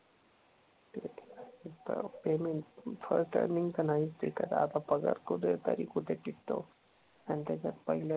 Payment first time तर नाहीच टिकत. आता पगार कुठे तरी कुठे टिकतो. अन त्याच्यात पहिल्या